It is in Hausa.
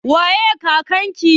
Waye kakan ki?